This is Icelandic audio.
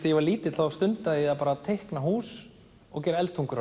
ég var lítill stundaði ég að teikna hús og gera eldtungur á